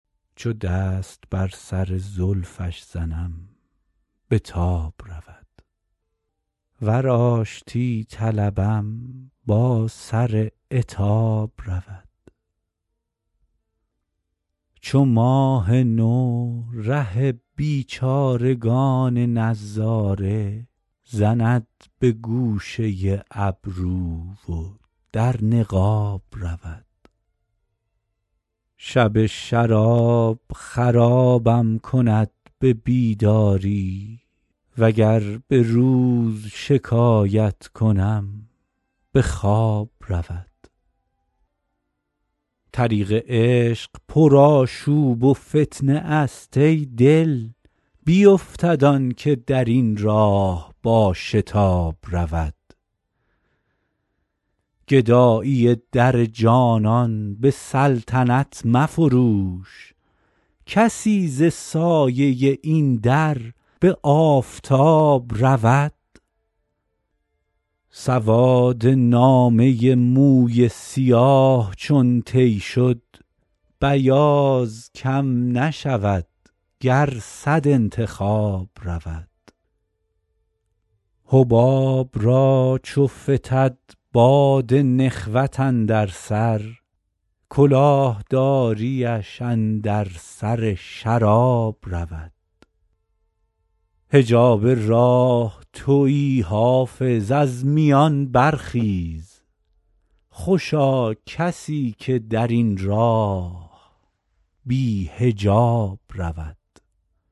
چو دست بر سر زلفش زنم به تاب رود ور آشتی طلبم با سر عتاب رود چو ماه نو ره بیچارگان نظاره زند به گوشه ابرو و در نقاب رود شب شراب خرابم کند به بیداری وگر به روز شکایت کنم به خواب رود طریق عشق پرآشوب و فتنه است ای دل بیفتد آن که در این راه با شتاب رود گدایی در جانان به سلطنت مفروش کسی ز سایه این در به آفتاب رود سواد نامه موی سیاه چون طی شد بیاض کم نشود گر صد انتخاب رود حباب را چو فتد باد نخوت اندر سر کلاه داریش اندر سر شراب رود حجاب راه تویی حافظ از میان برخیز خوشا کسی که در این راه بی حجاب رود